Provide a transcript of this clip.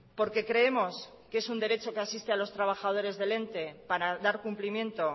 porque creemos que es un derecho que asiste a los trabajadores del ente para dar cumplimiento